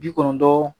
Bi kɔnɔntɔn